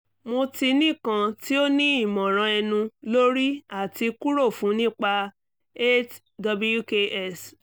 mo ti ni kan ti o ni imọran ẹnu lori ati kuro fun nipa eight wks